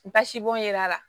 Basibɔn yera la